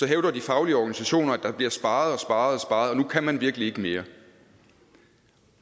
hævder de faglige organisationer at der bliver sparet og og at nu kan man virkelig ikke mere